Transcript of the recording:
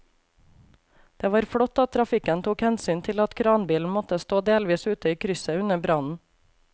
Det var flott at trafikken tok hensyn til at kranbilen måtte stå delvis ute i krysset under brannen.